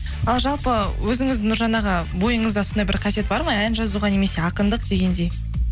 ал жалпы өзіңіз нұржан аға бойыңызда сондай бір қасиет бар ма ән жазуға немесе ақындық дегендей